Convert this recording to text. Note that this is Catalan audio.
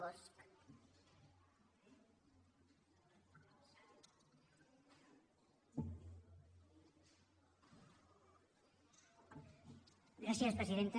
gràcies presidenta